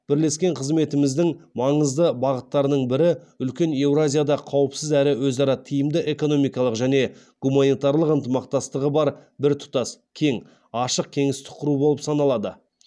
бірлескен қызметіміздің маңызды бағыттарының бірі үлкен еуразияда қауіпсіз әрі өзара тиімді экономикалық және гуманитарлық ынтымақтастығы бар біртұтас кең ашық кеңістік құру болып саналады